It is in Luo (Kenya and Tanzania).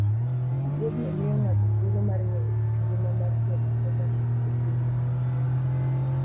Wuodhno miyo ng'ato thuolo mar ng'eyo kit ngima mar joma odak e thimno.